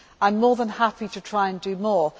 I am more than happy to try and do more